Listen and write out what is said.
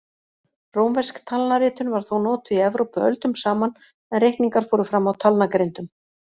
Rómversk talnaritun var þó notuð í Evrópu öldum saman en reikningar fóru fram á talnagrindum.